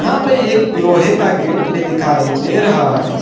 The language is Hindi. यहां पे एक लोहे का गेट भी दिखाई दे रहा है।